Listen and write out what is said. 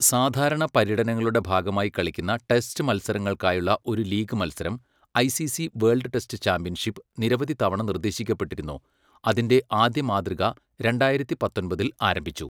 സാധാരണ പര്യടനങ്ങളുടെ ഭാഗമായി കളിക്കുന്ന ടെസ്റ്റ് മത്സരങ്ങൾക്കായുള്ള ഒരു ലീഗ് മത്സരം, ഐസിസി വേൾഡ് ടെസ്റ്റ് ചാമ്പ്യൻഷിപ്പ്, നിരവധി തവണ നിർദ്ദേശിക്കപ്പെട്ടിരുന്നു, അതിന്റെ ആദ്യ മാതൃക രണ്ടായിരത്തി പത്തൊമ്പതിൽ ആരംഭിച്ചു.